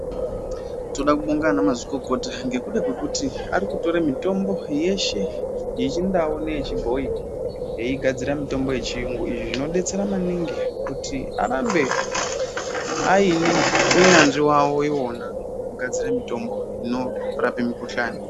Toda kubonga ana mazvikokota ngekuda kwekuti ari kutore mitombo yeshe yechindau neyechibhoyi eigadzira mitombo yechiyungu izvi zvinodetsera maningi kuti arambe aine unyanzvi wawo iwona wekugadzire mitombo inorape mikuhlani.